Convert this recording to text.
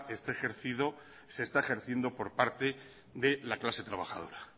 esté ejercido se está ejerciendo por parte de la clase trabajadora